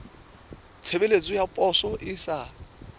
tshebeletso ya poso e sa